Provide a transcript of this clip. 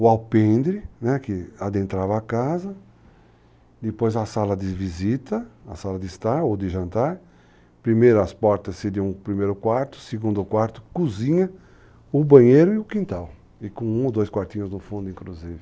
o alpendre, que adentrava a casa, depois a sala de visita, a sala de estar ou de jantar, primeiro as portas de um primeiro quarto, segundo quarto, cozinha, o banheiro e o quintal, e com um ou dois quartinhos no fundo, inclusive.